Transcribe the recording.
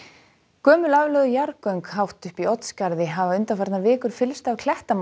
gömul aflögð jarðgöng hátt uppi í Oddsskarði hafa undanfarnar vikur fyllst af